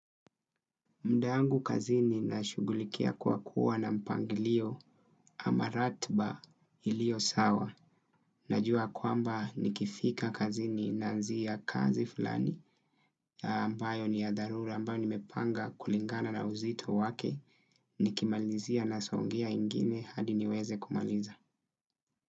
Muda yangu kazini nashughulikia kwa kuwa na mpangilio ama ratiba iliyo sawa. Najua kwamba nikifika kazini naanzia kazi fulani ambayo ni ya dharura ambayo nimepanga kulingana na uzito wake nikimalizia nasongea ingine hadi niweze kumaliza.